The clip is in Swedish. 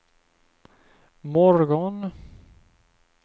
morgon